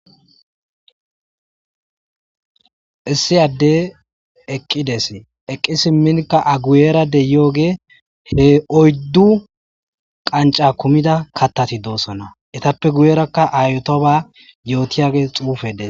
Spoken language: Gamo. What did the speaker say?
issiyadde eqqides eqqi simminka aguyeerade yooge he oyddu qanca kumida kattati doosona etappe guyeerakka aytoba yootiyage xuufedes